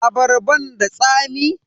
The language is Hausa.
Abarban da tsami?